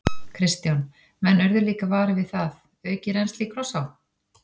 Kristján: Menn urðu líka varir við það, aukið rennsli í Krossá?